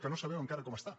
que no sabem enca·ra com està